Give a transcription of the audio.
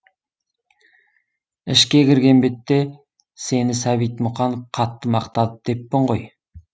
ішке кірген бетте сені сәбит мұқанов қатты мақтады деппін ғой